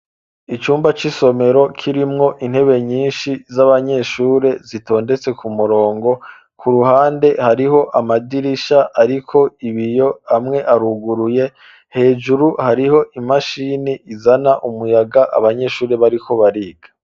Icumba c'isomero kirimwo intebe nyishi z'abanyeshuri zitondetse ku murongo ku ruhande hariho amadirisha ariko ibiyo amwe aruguruye hejuru hariho imashini izana umuyaga abanyeshuri bariko bariga.